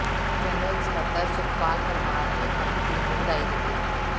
general ਸੱਕਤਰ ਸੁਖਪਾਲ ਪਰਮਾਰ ਨੇ ਨਵੀਂ ਟੀਮ ਨੂੰ ਵਧਾਈ ਦਿੱਤੀ